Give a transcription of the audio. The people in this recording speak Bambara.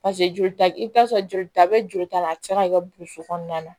joli ta i bɛ taa sɔrɔ jolita bɛ joli ta la a bɛ se ka kɛ burusi kɔnɔna na